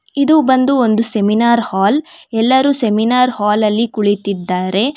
ಇದು ಬಂದು ಒಂದು ಸೆಮಿನಾರ್ ಹಾಲ್ ಎಲ್ಲರೂ ಸೆಮಿನಾರ್ ಹಾಲ ಲ್ಲಿ ಕುಳಿತಿದ್ದಾರೆ.